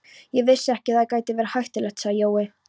Ég vissi ekki að það gæti verið hættulegt, sagði Jói.